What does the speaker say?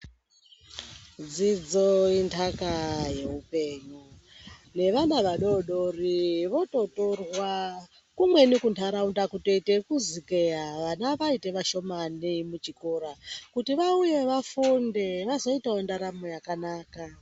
Dzidzo inthaka yeupenyu, nevana vadodori vototorwa kumweni kuntharaunda kutoite ekuzukeya vana vaite vashomani muchikora, kuti vauyewo vafunde vazoitawo ndaramo yakanaka.